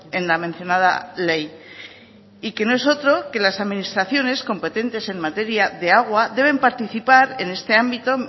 en la mencionada ley y que no es otro que las administraciones competentes en materia de agua deben participar en este ámbito